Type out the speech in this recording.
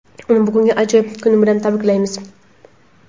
Uni bugungi ajoyib kuni bilan tabriklaymiz.